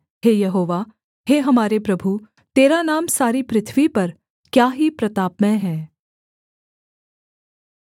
हे यहोवा हे हमारे प्रभु तेरा नाम सारी पृथ्वी पर क्या ही प्रतापमय है